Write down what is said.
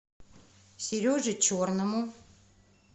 сереже черному